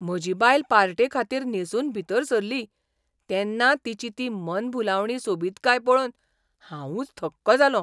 म्हजी बायल पार्टेखातीर न्हेंसून भितर सरली तेन्ना तिची ती मनभुलावणी सोबीतकाय पळोवन हांवूंच थक्क जालों.